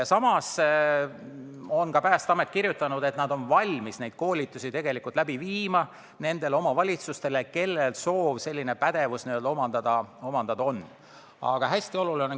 Samas on Päästeamet kirjutanud, et nad on valmis nendele omavalitsustele, kellel on soov selline pädevus omandada, koolitusi läbi viima.